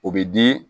O bɛ di